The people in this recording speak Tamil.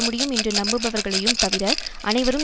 முடியும் என்று நம்புபவர்களையும் தவிர அனைவரும்